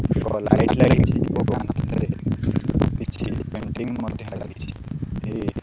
ବଡ ଲାଇଟ୍ ଲାଗିଚି ଓ କାନ୍ଥ ରେ କିଛି ପେଣ୍ଟିଂ ମଧ୍ୟ ଲାଗିଚି ଏ।